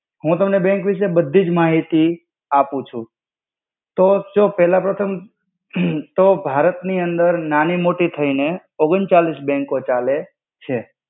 હુ તમને બેંક વિસે ની બધીજ મહિતી આપુ છુ. તો જો પેલા તો તમ અહ્હ્હ તો ભારત ની અંદર નાની-મોટી થઇ ને ઓગણચાલિસ બેંકો ચાલે છે.